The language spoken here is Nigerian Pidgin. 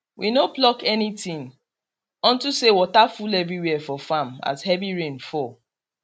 we no pluck anything unto say water full every where for farm as heavy rain fall